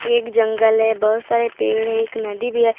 एक जंगल है बहुत सारे पेड़ है एक नदी भी है।